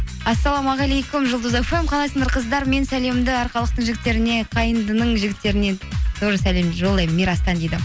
ассалаумағалейкум жұлдыз фм қалайсыңдар қыздар мен сәлемді арқалықтың жігіттеріне қайындының жігіттеріне тоже сәлем жолдаймын мирастан дейді